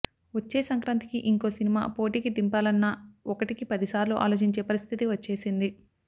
వచ్చే సంక్రాంతికి ఇంకో సినిమా పోటీకి దింపాలన్నా ఒకటికి పదిసార్లు ఆలోచించే పరిస్థితి వచ్చేసింది